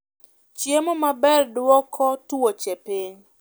chiemo maber dwoko tuoche piny